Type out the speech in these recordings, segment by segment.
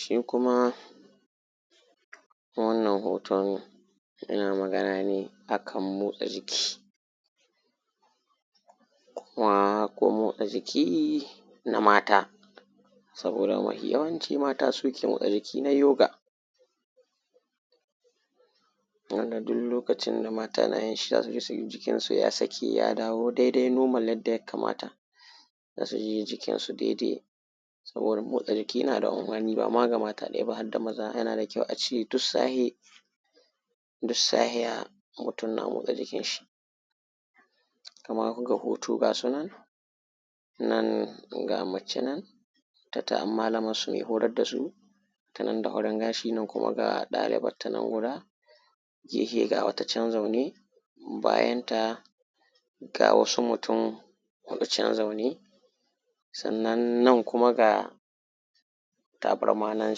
shi kuma wannan hoton yana magana ne a kan motsa jiki kuma ko motsa jiki na mata saboda mafi yawanci mata suke motsa jiki na yoga wanda duk lokacin da mata na yin shi za su ji jikin su ya saki ya dawo dai dai normal yadda ya kamata za su ji jikin su dai dai saboda motsa jiki na da amfani ba ma iya ga mata ɗai ba harda maza yana da kyau a ce duk safiya mutum na motsa jikin shi kaman ga hoto ga sunan nan ga mace nan ta samu malamar su mai masu horar da su tanan da horon ga shi nan kuma ga ɗalibar ta nan guda gefe ga wata can zaune bayan ta ga wasu mutum huɗu can zaune sannan nan ga kuma tabarma nan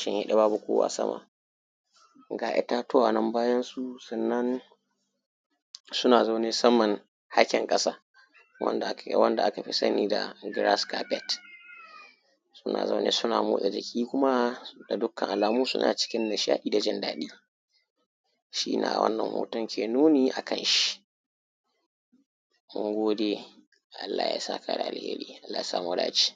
shimfiɗe babu kowa sama ga itatuwa nan bayansu sannan suna zaune a hakin ƙasa wanda aka fi sani da grass kafet suna zaune suna motsa jiki kuma da dukkan alamu suna cikin nishaɗi da jindaɗi shine wannan hoton ke nuni a kan shi na gode allah ya saka da alheri allah ya sa mu dace